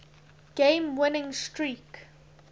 game winning streak